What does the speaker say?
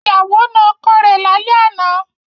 Ìyàwó na ọkọ rẹ̀ lálẹ́ àná.